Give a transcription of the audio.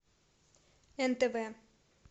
нтв